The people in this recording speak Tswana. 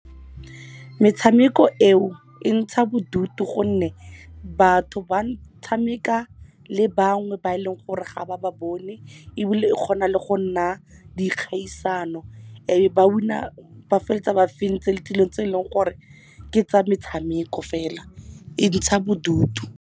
Metshameko eo e ntsha bodutu gonne batho ba tshameka le bangwe ba eleng gore ga ba ba bone, ebile e kgona le go nna dikgaisano. E be ba feleletsa ba fentse le dilong tse eleng gore ke tsa metshameko, fela e ntsha bodutu.